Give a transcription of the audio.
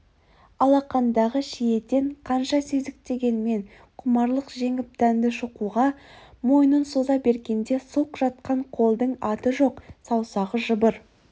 алақандағы шиеден қанша сезіктенгенмен құмарлық жеңіп дәнді шоқуға мойнын соза бергенде сұлқ жатқан қолдың аты жоқ саусағы жыбыр